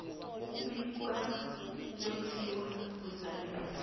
ukubika ukwetjiwa kwesabelo